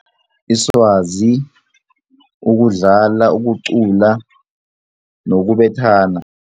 Iswazi, ukudlala, ukucula nokubethana.